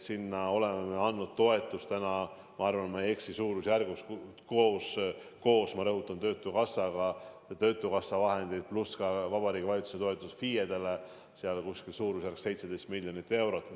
Sinna oleme andnud toetustena, ma arvan, et ma ei eksi suurusjärgus, koos töötukassa vahenditega – ma rõhutan seda –, pluss Vabariigi Valitsuse toetus FIE-dele, umbes 17 miljonit eurot.